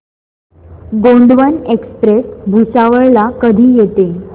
Gondwana express Bhusawal ला कधी येते